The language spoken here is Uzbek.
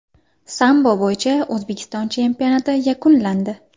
Sambo bo‘yicha O‘zbekiston chempionati yakunlandi.